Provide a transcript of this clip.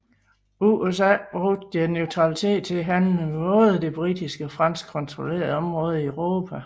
USA brugte deres neutralitet til at handle med både de britiske og franskkontrollerede områder i Europa